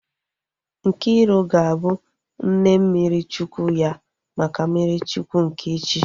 Nkiru ga-abụ nne mmiri Chukwu ya maka mmiri Chukwu nke echi